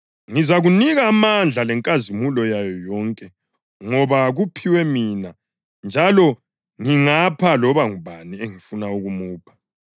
Wasesithi kuye, “Ngizakunika amandla lenkazimulo yayo yonke ngoba kuphiwe mina njalo ngingapha loba ngubani engifuna ukumupha.